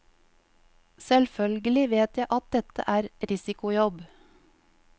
Selvfølgelig vet jeg at dette er risikojobb.